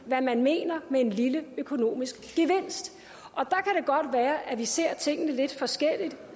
hvad man mener med en lille økonomisk gevinst og være at vi ser tingene lidt forskelligt